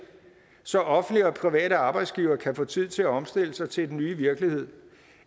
så offentlige og private arbejdsgivere kan få tid til at omstille sig til den nye virkelighed